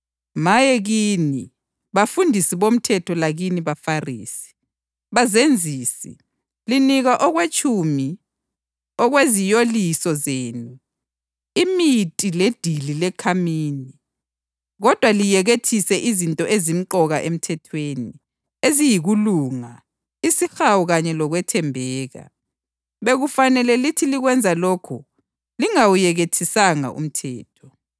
Maye kini, bafundisi bomthetho lakini baFarisi, bazenzisi! Linika okwetshumi okweziyoliso zenu, iminti ledili lekhamini. Kodwa liyekethise izinto ezimqoka emthethweni, eziyikulunga, isihawu kanye lokwethembeka. Bekufanele lithi likwenza lokhu lingawuyekethisanga umthetho.